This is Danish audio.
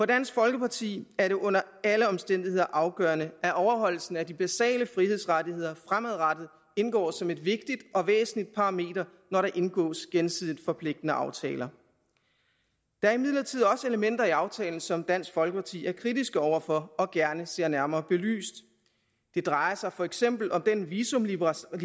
dansk folkeparti er det under alle omstændigheder afgørende at overholdelsen af de basale frihedsrettigheder fremadrettet indgår som et vigtigt og væsentligt parameter når der indgås gensidigt forpligtende aftaler der er imidlertid også elementer i aftalen som dansk folkeparti er kritisk over for og gerne ser nærmere belyst det drejer sig for eksempel om den visumliberalisering